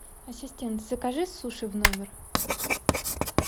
ассистент закажи суши в номер